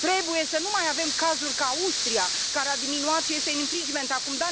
Trebuie să nu mai avem cazuri ca Austria, care a diminuat și este în infringement acum.